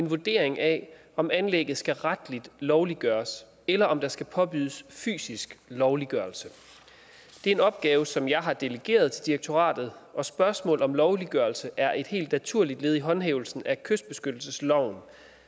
en vurdering af om anlægget skal retligt lovliggøres eller om der skal påbydes fysisk lovliggørelse det er en opgave som jeg har delegeret til direktoratet og spørgsmål om lovliggørelse er et helt naturligt led i håndhævelsen af kystbeskyttelsesloven